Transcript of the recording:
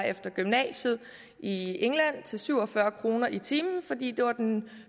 efter gymnasiet i england til syv og fyrre kroner i timen fordi det var den